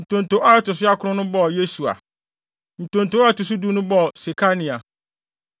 Ntonto a ɛto so akron no bɔɔ Yesua. Ntonto a ɛto so du no bɔɔ Sekania.